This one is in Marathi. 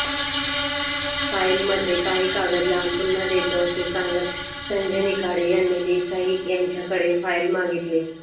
फाईलमध्ये काही कागद लावून पुन्हा देतो असे सांगत संजय निखाडे यांनी देसाई यांच्याकडे फाईल मागितली